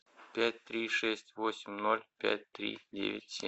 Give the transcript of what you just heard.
пять три шесть восемь ноль пять три девять семь